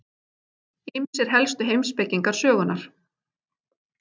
Ýmsir helstu heimspekingar sögunnar.